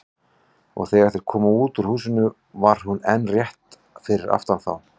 Og þegar þeir komu út úr húsinu var hún enn rétt fyrir aftan þá.